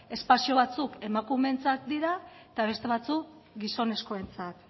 espazio batzuk emakumeentzat dira eta beste batzuk gizonezkoentzat